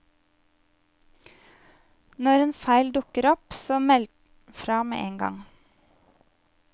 Når en feil dukker opp, så meld fra med én gang.